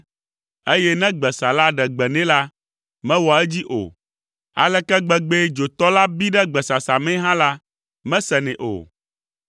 eye ne gbesala ɖe gbe nɛ la, mewɔa edzi o; aleke gbegbee dzotɔ la bi ɖe gbesasa mee hã la, mesenɛ o.